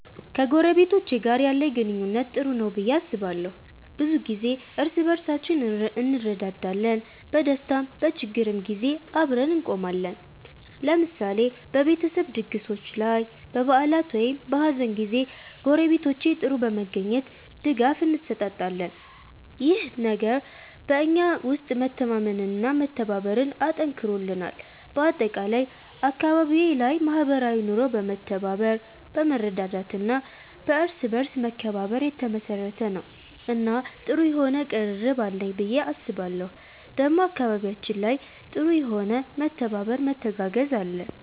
ከጎረቤቶቼ ጋር ያለኝ ግንኙነት ጥሩ ነው ብዬ አስባለሁ። ብዙ ጊዜ እርስ በርሳችን እንረዳዳለን፣ በደስታም በችግርም ጊዜ አብረን እንቆማለን። ለምሳሌ በቤተሰብ ድግሶች ላይ፣ በበዓላት ወይም በሀዘን ጊዜ ጎረቤቶቼ ጥር በመገኘት ድጋፍ እንሰጣጣለን። ይህ ነገር በእኛ ውስጥ መተማመንና መተባበርን አጠንክሮልናል። በአጠቃላይ አካባቢዬ ላይ ማህበራዊ ኑሮ በመተባበር፣ በመረዳዳት እና በእርስ በርስ መከባበር የተመሰረተ ነው እና ጥሩ የሆነ ቅርርብ አለኝ ብዬ አስባለሁ ዴሞ አካባቢያችን ላይ ጥሩ የሆነ መተባበር መተጋገዝ አለ።